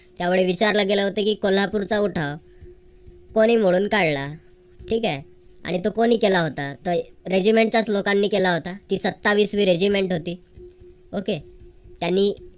त्यावेळी विचारलं गेलं होतं की कोल्हापूरचा उठाव. कोणी मोडून काढला? ठीक आहे. आणि तो कोणी केला होता. regiment च्याच लोकांनी केला होता. ती सत्तावीस वी regiment होती okay त्यांनी